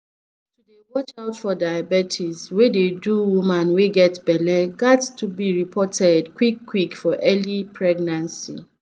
to dey watch out for diabetes wey dey do woman wey get belle ghats be reported quick quick for early pregnancy